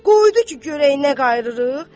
Qoydu ki, görək nə qayıdırıq?